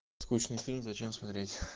скучный фильм зачем смотреть